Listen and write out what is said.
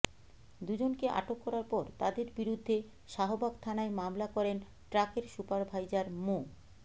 দুজনকে আটক করার পর তাদের বিরুদ্ধে শাহবাগ থানায় মামলা করেন ট্রাকের সুপারভাইজার মো